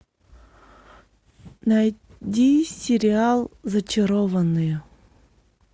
найди сериал зачарованные